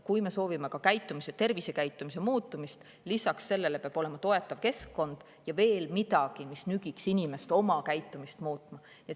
Kui me soovime käitumise, ka tervisekäitumise muutumist, siis peab sellele lisaks olema olemas toetav keskkond ja veel midagi, mis nügiks inimest oma käitumist muutma.